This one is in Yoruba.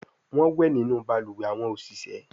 Wón wẹ nínú balùwẹ̀ àwọn oṣiṣẹ